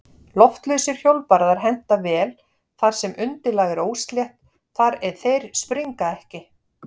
Loftlausir hjólbarðar henta vel þar sem undirlag er óslétt þar eð þeir springa ekki.